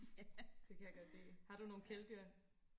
det kan jeg godt lide har du nogle kæledyr